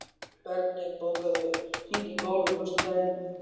Bergný, bókaðu hring í golf á föstudaginn.